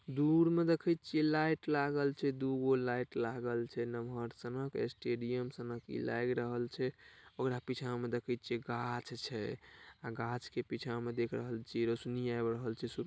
दूर में दिखई छिये लाइट लागल छे दूगो लाइट लागाल छे नमार चिनाह स्टेडियम लागि रहल छै ओकर पीछे में देखे छिये गाछ छे और गाछ के पीछे में रौशनी आवी रहल छे सु--